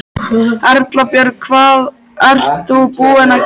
Erla Björg: Hvað ert þú búin að gera í dag?